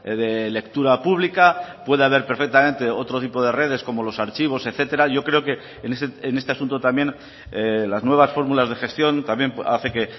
de lectura pública puede haber perfectamente otro tipo de redes como los archivos etcétera yo creo que en este asunto también las nuevas fórmulas de gestión también hace que